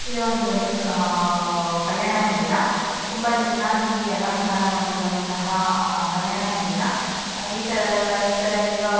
ಇದು ಒಂದು ಬಂದು ಕಲ್ಯಾಣ ಮಂದಿರ ತುಂಬ ಚೆನ್ನಾಗಿ ಅಲಂಕಾರ ಮಾಡಿರುವಂತಹ ಕಲ್ಯಾಣ ಮಂದಿರ ಇರತದ ಇತರ --